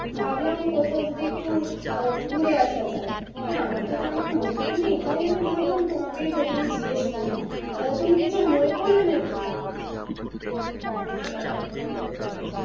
ভাবলাম কোথাও যদি একটু ঘুরে আসা যায়, আমার তো তেমন বন্ধু নেই তাই আমি ভাবলাম তোমাকেই প্রথমে জিজ্ঞেস করি তুমি কিছু মনে করলে নাকি? না না মনে করবো কেন।